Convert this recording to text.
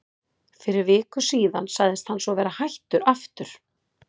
Fyrir viku síðan sagðist hann svo vera hættur aftur.